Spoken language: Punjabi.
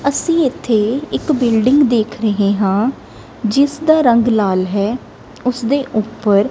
ਅਸੀ ਇੱਥੇ ਇੱਕ ਬਿਲਡਿੰਗ ਦੇਖ ਰਹੇ ਹਾਂ ਜਿਸ ਦਾ ਰੰਗ ਲਾਲ ਹੈ ਉਸਦੇ ਉੱਪਰ।